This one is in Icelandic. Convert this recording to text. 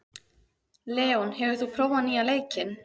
Leon, hefur þú prófað nýja leikinn?